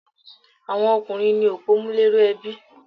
Àwọn ọkùnrín ní opòmúléró ebi